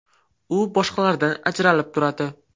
U boshqalardan ajralib turadi.